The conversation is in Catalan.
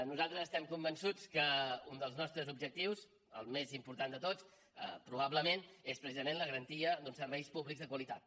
nosaltres estem convençuts que un dels nostres objectius el més important de tots probablement és precisament la garantia d’uns serveis públics de qualitat